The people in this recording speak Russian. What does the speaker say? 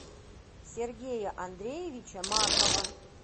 сергея андреевича маркова